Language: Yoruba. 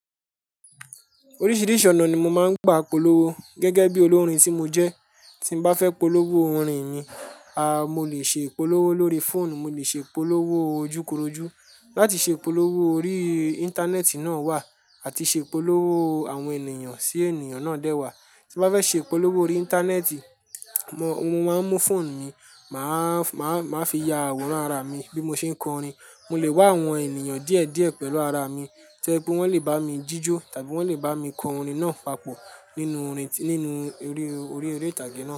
Oríṣiríṣi ọ̀nà ni mo máa ń gba ìpolówó gẹ́gẹ́ bí olórin tí mo jẹ́. Tí bá fẹ́ polówó orin mi, a, mo lè ṣe ìpolówó lórí fóònù, mo lè ṣe ìpolówó ojúkorojú. Láti ṣe ìpolówó orí Íńtánẹ́ẹ̀tì náà wà àti ṣe ìpolówó àwọn ènìyàn sí ènìyàn náà dẹ́ wà. Tí mo bá fẹ́ ṣe ìpolówó orí Íńtánẹ́ẹ̀tì, mo, mo máa ń mú fóònù mi, màá, màá, màá fi ya àwòrán ara mi bí mo ṣe ń kọ orin. Mo lè wá àwọn ènìyàn díẹ̀ díẹ̀ pẹ̀lú ara mi, tó jé pé wọ́n lè bá mi jíjó tàbí wọ́n lè bá mi kọ orin náà papọ̀ nínú orin, nínú eré, orí eré ìtàgé náà.